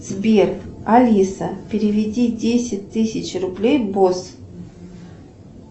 сбер алиса переведи десять тысяч рублей босс